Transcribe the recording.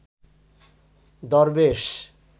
দরবেশ